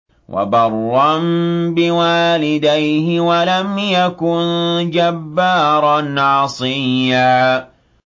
وَبَرًّا بِوَالِدَيْهِ وَلَمْ يَكُن جَبَّارًا عَصِيًّا